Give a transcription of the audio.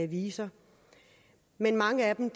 viser men mange af dem